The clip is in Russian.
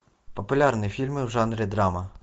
популярные фильмы в жанре драма